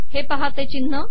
हे पहा ते िचनह